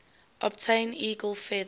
obtain eagle feathers